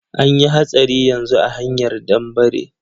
Anyi hatsari yanzu a hanyar danbare.